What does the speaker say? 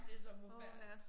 Det så forfærdeligt